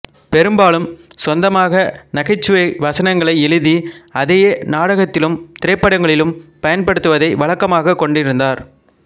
பெரும்பாலும் சொந்தமாக நகைச்சுவை வசனங்களை எழுதி அதையே நாடகத்திலும் திரைப்படங்களிலும் பயன்படுத்துவதை வழக்கமாகக் கொண்டிருந்தார்